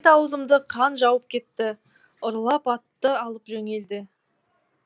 бет аузымды қан жауып кетті ұрылар атты алып жөнелді